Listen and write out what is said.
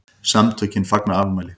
SAMTÖKIN FAGNA AFMÆLI